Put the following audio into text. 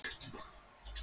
Greiningardeildir hvað?